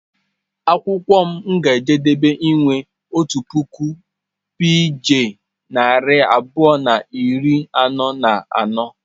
Akwụkwọ m ga-ejedebe inwe otu puku peeji narị abụọ na iri anọ na anọ.